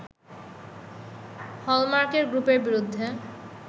হলমার্কের গ্রুপের বিরুদ্ধে